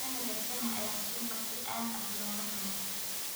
Dalagga shaaha ayaa suuqa si aad ah looga rabaa.